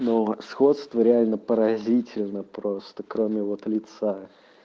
но сходство реально поразительно просто кроме вот лица